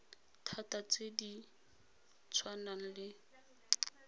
thata tse di tshwanang le